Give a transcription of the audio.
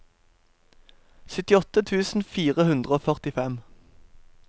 syttiåtte tusen fire hundre og førtifem